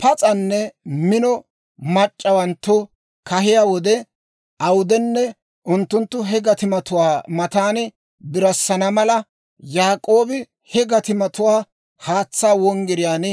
Pas's'anne mino mac'c'awanttu kahiyaa wode awudenne, unttunttu he gatimatuwaa matan birassana mala, Yaak'oobi he gatimatuwaa haatsaa wonggiriyaan,